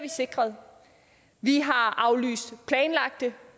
sikret vi har aflyst planlagte